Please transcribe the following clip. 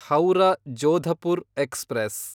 Howrah Jodhpur express